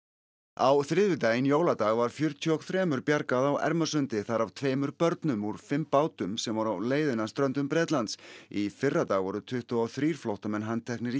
á þriðjudaginn jóladag var fjörutíu og þrjú bjargað á Ermarsundi þar af tveimur börnum úr fimm bátum sem voru á leiðinni að ströndum Bretlands í fyrradag voru tuttugu og þrjú flóttamenn handteknir í